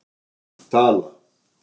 Tala